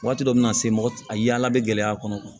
Waati dɔ bɛ na se mɔgɔ a yaala bɛ gɛlɛya a kɔnɔ